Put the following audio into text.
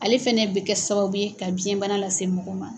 Ale fɛnɛ bɛ kɛ sababu ye ka biyɛnbana lase mɔgɔ ma.